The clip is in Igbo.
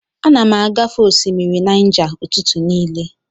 Ana m agafe osimiri Naija ụtụtụ niile.